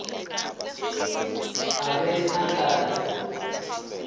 a be a ka re